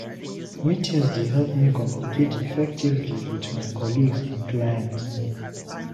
Meetings dey help me communicate effectively with my colleagues and clients.